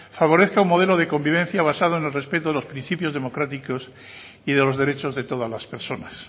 favorezca un modelo de convivencia basado en los respetos de los principios democráticos y de los derechos de todas las personas